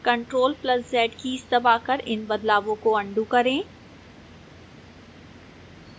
ctrl + z keys दबाकर इन बदलावों को अन्डू करें